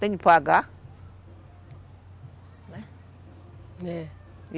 Tem que pagar, né? É. E